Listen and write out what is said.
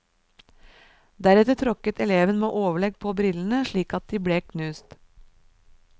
Deretter tråkket eleven med overlegg på brillene, slik at de ble knust.